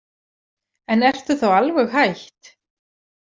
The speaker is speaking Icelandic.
En ertu þá alveg hætt?